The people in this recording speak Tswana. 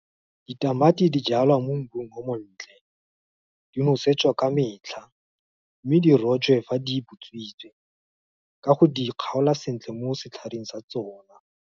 Ditamati di jalwa mo mmung o montle, di nosetswa ka metlha, mme di rojwe ga di butswitse, ka go di kgaola sentle mo setlhareng sa tsona.